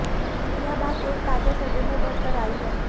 यह बात एक ताजा सर्वे में उभर कर आई है